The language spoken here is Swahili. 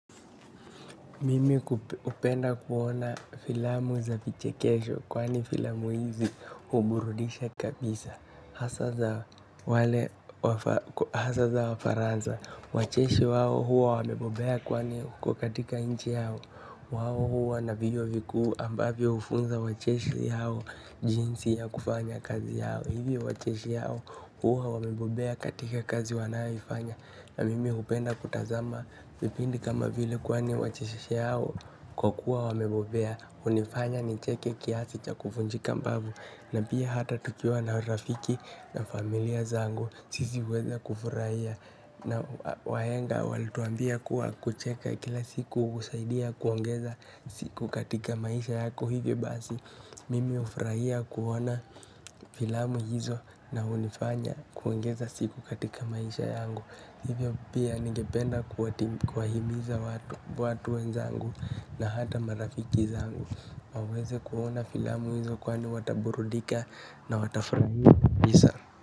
Mimi ku hupenda kuona filamu za vichekesho kwani filamu hizi huburudisha kabisa. Hasa za wafaranza, wacheshi wao huwa wamebobea kwani huko katika inchi yao. Wao huwa na vyuo vikuu ambavyo hufunza wacheshi hao jinsi ya kufanya kazi yao. Hivi wacheshi hao huwa wamebobea katika kazi wanayoifanya. Na mimi hupenda kutazama vipindi kama vile kwani wachekeshi hao kwa kuwa wamebobea hunifanya nicheke kiasi cha kufunjika mbavu na pia hata tukiwa na rafiki na familia zangu sisi huweza kufurahia na wahenga walituambia kuwa kucheka kila siku husaidia kuongeza siku katika maisha yako hivyo basi mimi hufurahia kuona filamu hizo na hunifanya kuongeza siku katika maisha yangu hivyo pia ningependa kuwati kuwahimiza watu watu wenzangu na hata marafiki zangu waweze kuona filamu hizo kwani wataburudika na watafurahia visa.